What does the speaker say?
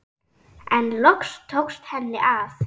En loks tókst henni að.